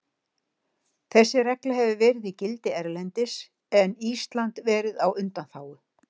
Þessi regla hefur verið í gildi erlendis en Ísland verið á undanþágu.